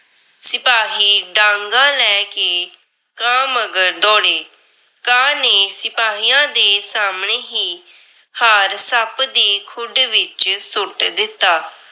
ਸਿਪਾਹੀ ਡਾਂਗਾਂ ਲੈ ਕੇ ਕਾਂ ਮੰਗਰ ਦੌੜੇ, ਕਾਂ ਨੇ ਸਿਪਾਹੀਆਂ ਦੇ ਸਾਹਮਣੇ ਹੀ। ਹਾਰ ਸੱਪ ਦੀ ਖੁੱਡ ਵਿੱਚ ਸੁੱਟ ਦਿੱਤਾ।